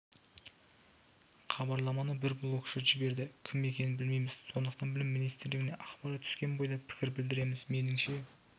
хабарламаны бір блогшы жіберді кім екенін білмейміз сондықтан білім министрлігіне ақпарат түскен бойда пікір білдіреміз меніңше